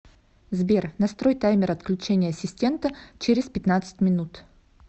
сбер настрой таймер отключения ассистента через пятнадцать минут